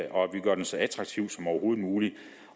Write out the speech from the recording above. og at vi gør den så attraktiv som overhovedet muligt